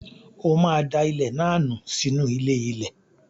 O máa da ilẹ̀ náà nù sínú ilé-ilẹ̀.